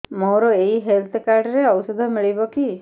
ମୋର ଏଇ health card ରେ ଔଷଧ ମିଳିବ କି